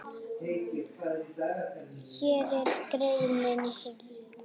Hér er greinin í heild.